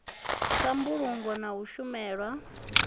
ya mbulungo na u shumana